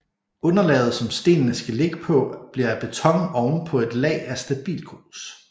Underlaget som stenene skal ligge på bliver af beton ovenpå et lag af stabilgrus